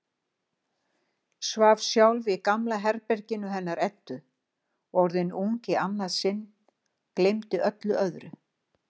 Svaf sjálf í gamla herberginu hennar Eddu, orðin ung í annað sinn, gleymdi öllu öðru.